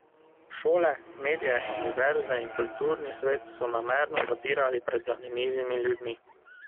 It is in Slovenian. Šole, medije, univerze in kulturni svet so namerno zapirali pred zanimivimi ljudmi.